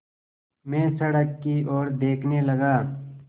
मैं सड़क की ओर देखने लगा